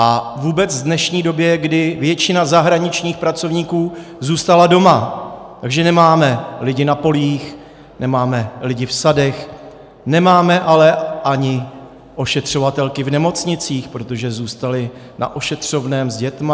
A vůbec v dnešní době, kdy většina zahraničních pracovníků zůstala doma, takže nemáme lidi na polích, nemáme lidi v sadech, nemáme ale ani ošetřovatelky v nemocnicích, protože zůstaly na ošetřovném s dětmi.